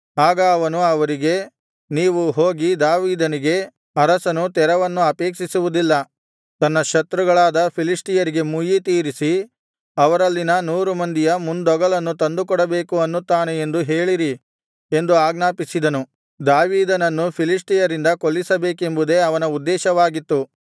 ಆಗ ಅವನು ಅವರಿಗೆ ನೀವು ಹೋಗಿ ದಾವೀದನಿಗೆ ಅರಸನು ತೆರವನ್ನು ಅಪೇಕ್ಷಿಸುವುದಿಲ್ಲ ತನ್ನ ಶತ್ರುಗಳಾದ ಫಿಲಿಷ್ಟಿಯರಿಗೆ ಮುಯ್ಯಿತೀರಿಸಿ ಅವರಲ್ಲಿನ ನೂರು ಮಂದಿಯ ಮುಂದೊಗಲನ್ನು ತಂದುಕೊಡಬೇಕು ಅನ್ನುತ್ತಾನೆ ಎಂದು ಹೇಳಿರಿ ಎಂದು ಆಜ್ಞಾಪಿಸಿದನು ದಾವೀದನನ್ನು ಫಿಲಿಷ್ಟಿಯರಿಂದ ಕೊಲ್ಲಿಸಬೇಕೆಂಬುದೇ ಅವನ ಉದ್ದೇಶವಾಗಿತ್ತು